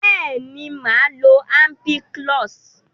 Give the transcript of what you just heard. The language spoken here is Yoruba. beeni, maa lo ampiclox.